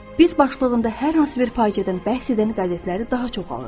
Biz başlığında hər hansı bir faciədən bəhs edən qəzetləri daha çox alırıq.